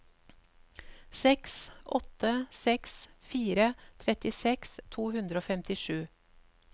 seks åtte seks fire trettiseks to hundre og femtisju